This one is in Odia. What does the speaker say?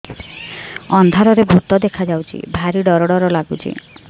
ଅନ୍ଧାରରେ ଭୂତ ଦେଖା ଯାଉଛି ଭାରି ଡର ଡର ଲଗୁଛି